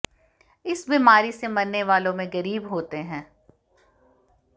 इस बीमारी से मरने वालों में गरीब होते हैं